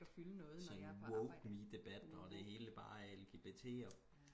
sådan woke me debat og det hele bare er lgbt og